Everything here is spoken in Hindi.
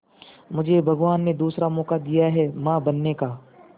मुझे भगवान ने दूसरा मौका दिया है मां बनने का